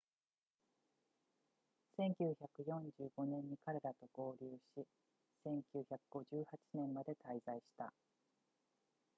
1945年に彼らと合流し1958年まで滞在した